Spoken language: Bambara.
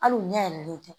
Hali u ɲɛ yɛlɛlen tɛ